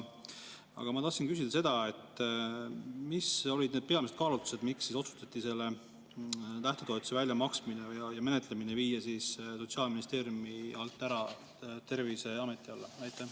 Aga ma tahtsin küsida seda: mis olid need peamised kaalutlused, miks otsustati selle lähtetoetuse väljamaksmine ja menetlemine viia Sotsiaalministeeriumi alt Terviseameti alla?